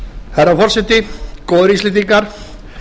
herra forseti góðir íslendingar